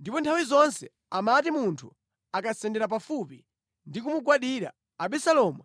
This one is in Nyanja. Ndipo nthawi zonse amati munthu akasendera pafupi ndi kumugwandira, Abisalomu